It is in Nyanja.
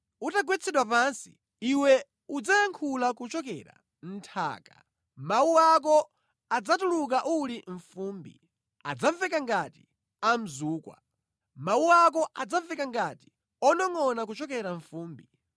Utagwetsedwa pansi, iwe udzayankhula kuchokera mʼnthaka, mawu ako adzatuluka uli mʼfumbi, adzamveka ngati a mzukwa. Mawu ako adzamveka ngati onongʼona kuchokera mʼfumbi.